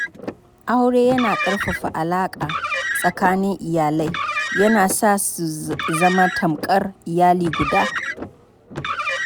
Aure yana ƙarfafa alaka tsakanin iyalai, yana sa su zama tamkar iyali guda.